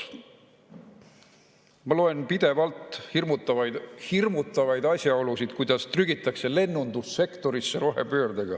Ma loen pidevalt hirmutavaid asjaolusid, kuidas trügitakse rohepöördega lennundussektorisse.